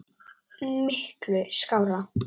Miklu skárra.